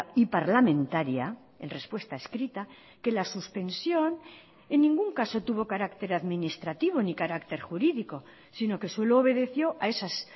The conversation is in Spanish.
y parlamentaria en respuesta escrita que la suspensión en ningún caso tuvo carácter administrativo ni carácter jurídico sino que solo obedeció a esas